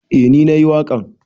Eh ni na yi waƙan.